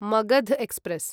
Magadh express